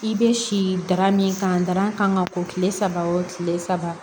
I bɛ si dara min kan dalan kan ka bɔ kile saba o kile saba